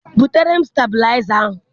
Butere m stebilaịza ahụ!